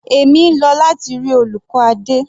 Èmi ń lọ láti rí olùkọ́ Adé.